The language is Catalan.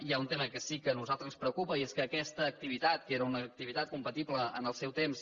hi ha un tema que sí que a nosaltres ens preocupa i és que aquesta activitat que era una activitat compatible en el seu temps